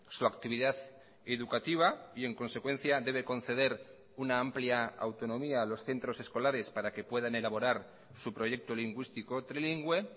su actividad educativa y en consecuencia debe conceder una amplia autonomía a los centros escolares para que puedan elaborar su proyecto lingüístico trilingüe